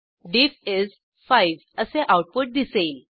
डिफ is 5 असे output दिसेल